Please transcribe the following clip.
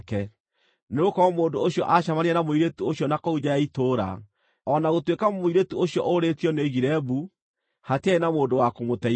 nĩgũkorwo mũndũ ũcio aacemanirie na mũirĩtu ũcio na kũu nja ya itũũra, o na gũtuĩka mũirĩtu ũcio ũrĩĩtio nĩoigire mbu, hatiarĩ na mũndũ wakũmũteithũra.